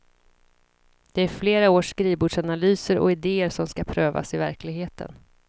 Det är flera års skrivbordsanalyser och ideer som skall prövas i verkligeheten.